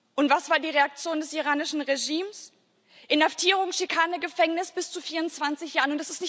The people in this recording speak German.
Und was war die Reaktion des iranischen Regimes? Inhaftierung, Schikane, Gefängnis bis zu 24 Jahren.